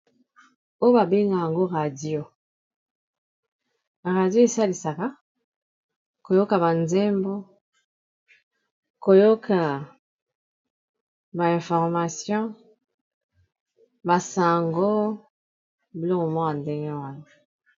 Oyo babenga yango radio, radio esalisaka koyoka ba nzembo koyoka ba information ba sango bilokl moko ya ndenge wana.